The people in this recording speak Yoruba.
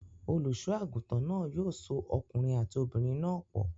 Olùṣọ́-àgùntàn náà yóò so ọkùnrin àti obìnrin náà pọ̀.